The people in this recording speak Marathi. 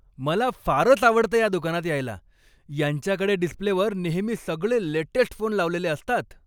मला फारच आवडतं या दुकानात यायला. यांच्याकडे डिस्प्लेवर नेहमी सगळे लेटेस्ट फोन लावलेले असतात.